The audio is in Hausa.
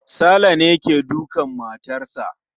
Saleh ne ke dukar matarsa